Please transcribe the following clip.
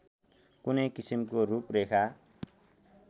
कुनै किसिमको रूपरेखा